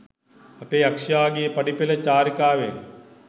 අපේ යක්ෂයාගේ පඩිපෙල චාරිකාවෙන්.